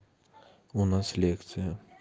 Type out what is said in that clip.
у нас лекция